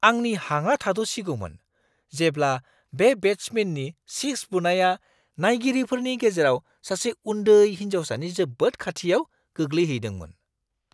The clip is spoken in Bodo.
आंनि हाङा थाद'सिगौमोन, जेब्ला बे बेट्समेननि सिक्स बुनाया नायगिरिफोरनि गेजेराव सासे उन्दै हिन्जावसानि जोबोद खाथियाव गोग्लैहैदोंमोन!